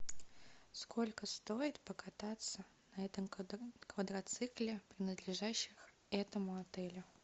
сколько стоит покататься на этом квадроцикле принадлежащему этому отелю